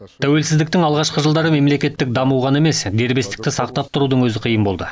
тәуелсіздіктің алғашқы жылдары мемлекеттік даму ғана емес дербестікті сақтап тұрудың өзі қиын болды